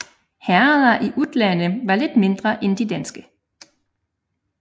Herreder i Utlande var lidt mindre end de danske